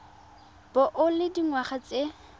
bo o le dingwaga tse